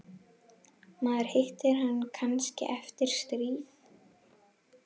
Maður hittir hann kannski eftir stríð.